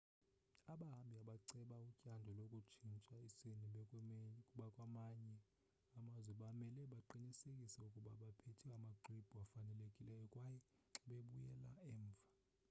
abahambi abaceba utyando lokutshintsha isini bekwamanye amazwe bamele baqinisekise ukuba baphethe amaxwebhu afanelekileyo xa bebuyela emva